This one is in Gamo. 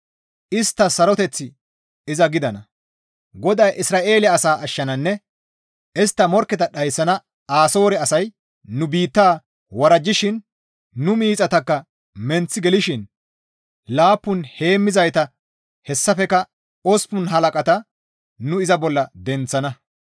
Isttas saroteththi iza gidana. GODAY Isra7eele Asaa Ashshananne Istta Morkketa Dhayssana Asoore asay nu biitta worajjishin nu miixataka menththi gelishin laappun heemmizayta hessafekka osppun halaqata nu iza bolla denththana.